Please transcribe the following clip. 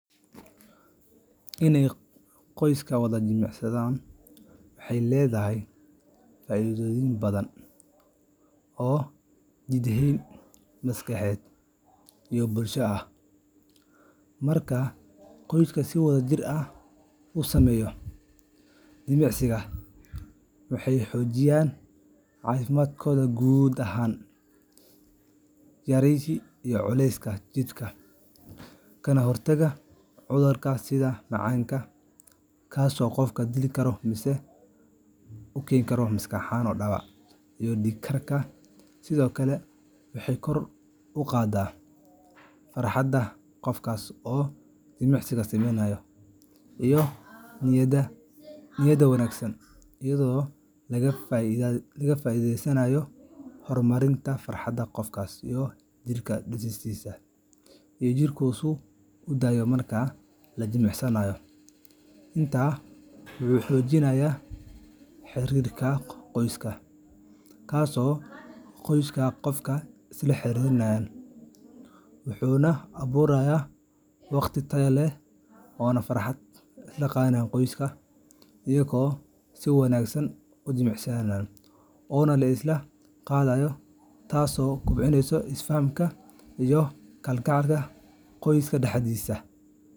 In qoyska wada jimicsado waxay leedahay faa’iidooyin badan oo jidheed, maskaxeed, iyo bulsho ah. Marka qoyska si wadajir ah u sameeyo jimicsi, waxay xoojiyaan caafimaadkooda guud, yareeyaan culeyska jirka, kana hortagaan cudurrada sida macaanka iyo dhiig-karka. Sidoo kale, waxay kor u qaadaa farxadda iyo niyadda wanaagsan, iyadoo laga faa’iideysanayo hormoonnada farxadda ee jirka uu soo daayo marka la jimicsado. Intaa waxaa dheer, jimicsiga wadajirka ah wuxuu xoojiyaa xiriirka qoyska, wuxuuna abuurayaa waqti tayo leh oo la isla qaato, taasoo kobcisa is-fahamka iyo kalgacalka qoyska dhexdiisa.